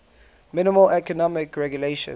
minimal economic regulations